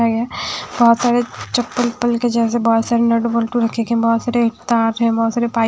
बहुत सारे चप्पल के जैसे बहुत सारे नट बख बहुत सारे तार हैबहुत सारे पाई --